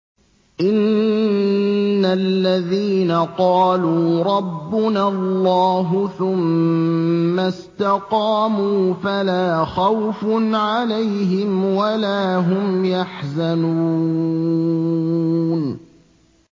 إِنَّ الَّذِينَ قَالُوا رَبُّنَا اللَّهُ ثُمَّ اسْتَقَامُوا فَلَا خَوْفٌ عَلَيْهِمْ وَلَا هُمْ يَحْزَنُونَ